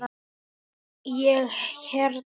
Ég hérna.